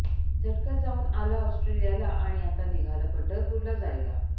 झटक्यात जाऊन आलं ऑस्ट्रेलियाला आणि आता निघालं पंढरपूरला जायला